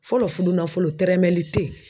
Fɔlɔ fudunafɔlɔ tɛrɛmɛli te yen